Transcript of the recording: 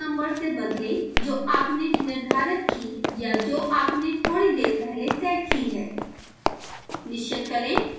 port number उस नंबर से बदलें जो आपने निर्धारित की या जो आपने थोड़ी देर पहले सेट की है